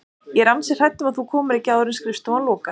Ég er ansi hrædd um að þú komir ekki áður en skrifstofan lokar